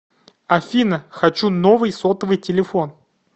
афина хочу новый сотовый телефон